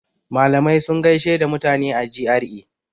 Malamai sun gaishe da mutane a GRA.